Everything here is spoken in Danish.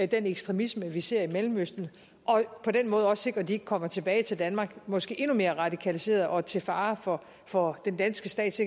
den ekstremisme vi ser i mellemøsten og på den måde også sikre at de ikke kommer tilbage til danmark måske endnu mere radikaliserede og til fare for for den danske stats